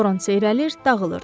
Toran seyrəlir, dağılırdı.